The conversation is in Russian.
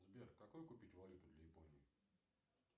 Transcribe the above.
сбер какую купить валюту для японии